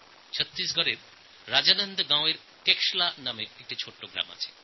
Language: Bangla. ছত্রিশগড়ের রাজনন্দ গাঁওতে কেশলা নামে একটি ছোটো গ্রাম আছে